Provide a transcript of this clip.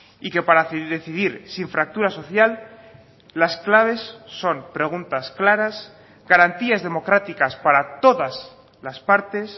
y que para decidir sin fracturas social las claves son preguntas claras garantías democráticas para todas las partes